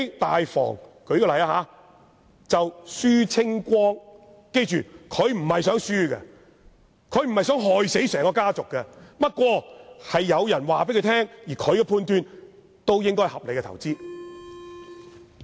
大房的人也不是想虧蝕的，他不想害死整個家族，不過有人告訴他，而他的判斷亦認為這應該是合理的投資。